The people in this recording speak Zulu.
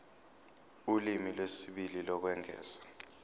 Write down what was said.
ulimi lwesibili lokwengeza